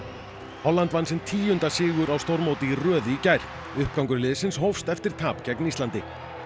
Holland vann sinn tíunda sigur á stórmóti í röð í gær uppgangur liðsins hófst eftir tap gegn Íslandi